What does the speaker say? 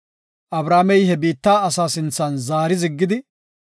Abrahaamey he biitta asa sinthan zaari ziggidi,